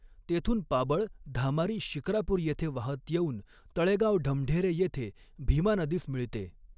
तेथून पाबळ धामारी शिक्रापूर येथे वाहत येउन तळेगाव ढमढेरे येथे भीमा नदीस मिळते